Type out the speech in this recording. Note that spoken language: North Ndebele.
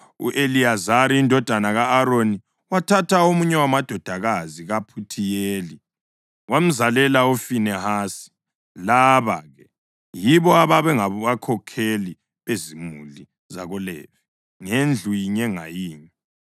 U-Eliyazari indodana ka-Aroni wathatha omunye wamadodakazi kaPhuthiyeli. Wamzalela uFinehasi. Laba-ke yibo ababengabakhokheli bezimuli zakoLevi, ngendlu yinye ngayinye.